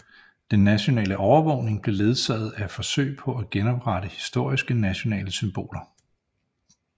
Den nationale opvågning blev ledsaget af forsøg på at genoprette historiske nationale symboler